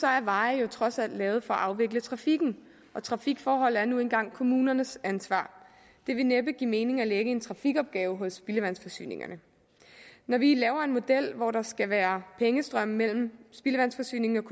er veje jo trods alt lavet for at afvikle trafikken og trafikforhold er nu engang kommunernes ansvar det vil næppe give mening at lægge en trafikopgave hos spildevandsforsyningerne når vi laver en model hvor der skal være pengestrømme mellem spildevandsforsyningerne